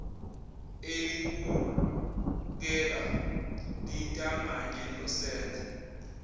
elibukeka lintanganye nosenzo